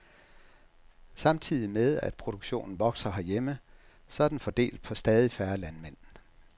Samtidig med, at produktionen vokser herhjemme, så er den fordelt på stadig færre landmænd.